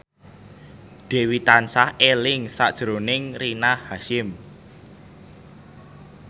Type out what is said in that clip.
Dewi tansah eling sakjroning Rina Hasyim